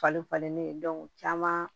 Fali falennen caman